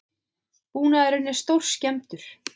Búnaðurinn er stórskemmdur